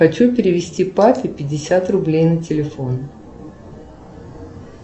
хочу перевести папе пятьдесят рублей на телефон